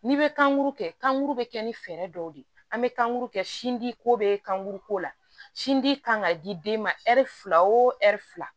N'i bɛ kankuru kɛ kan kuru bɛ kɛ ni fɛɛrɛ dɔw de ye an bɛ kankuru kɛ sin di ko bɛ kan kuru ko la sinji kan ka di den ma ɛri fila o ɛri fila